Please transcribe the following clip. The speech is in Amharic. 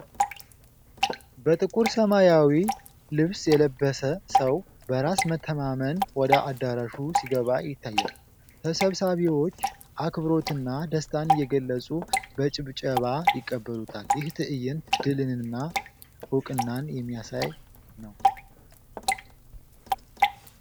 በጥቁር ሰማያዊ ልብስ የለበሰ ሰው በራስ መተማመን ወደ አዳራሹ ሲገባ ይታያል። ተሰብሳቢዎች አክብሮትና ደስታን እየገለፁ በጭብጨባ ይቀበሉታል። ይህ ትዕይንት ድልንና እውቅናን የሚያሳይ ነው።